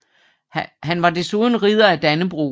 Han var desuden Ridder af Dannebrog